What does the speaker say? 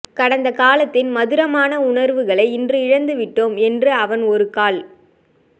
கடந்த காலத்தின் மதுரமான உணர்வுகளை இன்று இழந்து விட்டோம் என்று அவன் ஒருக்கால்